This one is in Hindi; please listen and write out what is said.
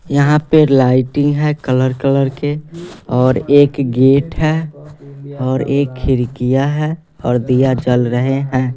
यहां पे लाइटिंग है कलर कलर के और एक गेट है और एक खिड़कियां है और दिया जल रहे हैं।